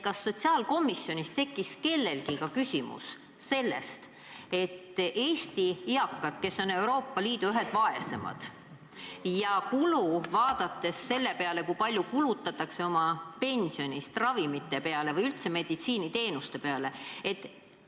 Kas sotsiaalkomisjonis tekkis kellelgi küsimus, kui palju kulutavad Eesti eakad, kes on Euroopa Liidus ühed vaeseimad, oma pensionist ravimite peale või üldse meditsiiniteenuste peale?